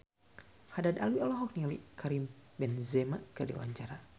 Haddad Alwi olohok ningali Karim Benzema keur diwawancara